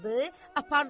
Apardı şəhərə.